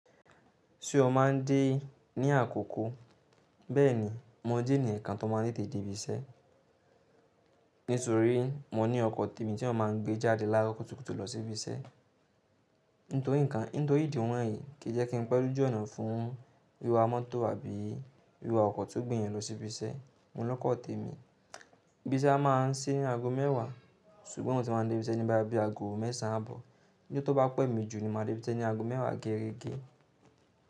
Ṣé o máa ń dé ní àkókò? Bẹ́ẹ̀ni, mo jẹ́ ènìyàn kan tó máa ń tètè dé ibi iṣẹ́. Nítorí mo ní ọkọ̀ tèmi tí wọn máa ń gbé jáde láró kùtùkùtù lọ sí ibi iṣẹ́. Nítorí nǹkan, nítorí ìdí wọ̀nyí kì í jẹ́ kí n pẹ̀lú jù ọ̀nà fún wíwá mọ́tò àbí wíwá ọkọ̀ tó gbé yẹn lọ sí ibi iṣẹ́. Mo ní lọ́kọ̀ tèmi, ibi iṣẹ́ a máa ń sí aago mẹ́ẹ̀wá, ṣùgbọ́n mo ti máa ń dé ibi iṣẹ́ ní bóyá bí aago mẹ́sàn á bọ̀. Ní ọjọ́ tó bá pẹ́ mí jù ni màá dé ibi iṣẹ́ ní aago mẹ́ẹ̀wá gégege.